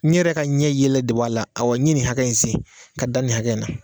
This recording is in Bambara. N yɛrɛ ka ɲɛ yɛlɛɛ de b'a la, aw wa ɲɛ ni hakɛya in sen ka dan ni hakɛ in na.